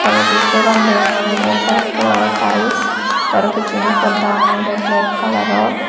toledi por an deongor olode hwaet kalaror taels tey arow pissenni podda an olode belek kalaror.